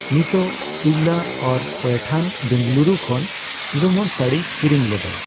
ᱱᱚᱛᱚᱜ ᱤᱣᱞᱟ ᱟᱨ ᱯᱳᱭᱴᱷᱟᱱ ᱵᱮᱝᱜᱟᱞᱩᱨᱩ ᱠᱷᱚᱱ ᱞᱩᱢᱟᱝ ᱥᱟᱹᱲᱤᱭ ᱠᱤᱨᱤᱧ ᱞᱮᱫᱟ ᱾